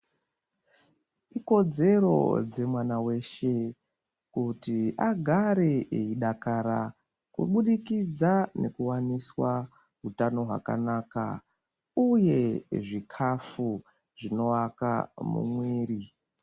Ikodzero dzemwana weshe kuti agare eidakara kubudikidza nekuwaniswa utano hwakanaka uye zvikafu zvinovaka mumwiri.